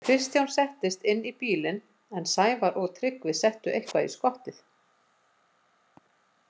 Kristján settist inn í bílinn en Sævar og Tryggvi settu eitthvað í skottið.